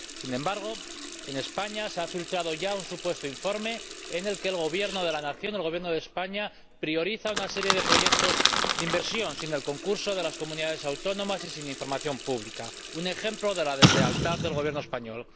Sin embargo, en España, se ha filtrado ya un supuesto informe en el que el Gobierno de la nación —el Gobierno de España— prioriza una serie de proyectos de inversión sin el concurso de las comunidades autónomas y sin información pública, un ejemplo de la deslealtad del Gobierno español.